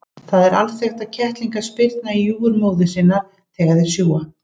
Það er alþekkt að kettlingar spyrna í júgur móður sinnar þegar þeir sjúga.